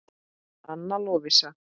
Anna Lovísa.